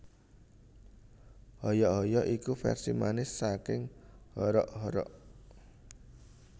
Hoyok hoyok iku versi manis saking Horok Horok